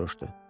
Ginni soruşdu.